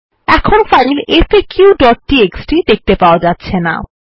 এখন ফাইল faqটিএক্সটি দেখতে পাওয়া যাচ্ছেনা